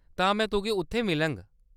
तां में तुगी उत्थै मिलङ।